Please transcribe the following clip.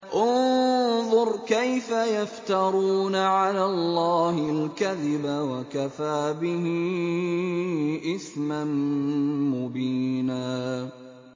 انظُرْ كَيْفَ يَفْتَرُونَ عَلَى اللَّهِ الْكَذِبَ ۖ وَكَفَىٰ بِهِ إِثْمًا مُّبِينًا